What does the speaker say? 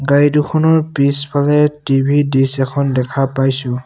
গাড়ী দুখনৰ পিছফালে টি_ভি ডিচ এখন দেখা পাইছোঁ।